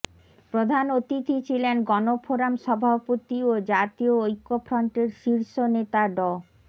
প্রধান অতিথি ছিলেন গণফোরাম সভাপতি ও জাতীয় ঐক্যফ্রন্টের শীর্ষ নেতা ড